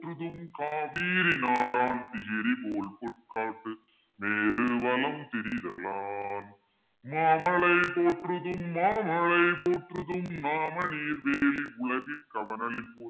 காவிரி நாடன் திகிரிபோல் பொற்கோட்டு மேரு வலம்திரி தலான் மாமழை போற்றுதும் மாமழை போற்றுதும் நாமநீர் வேலி உலகிற்கு அவனளிபோல்